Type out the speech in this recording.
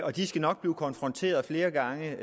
og de skal nok blive konfronteret flere gange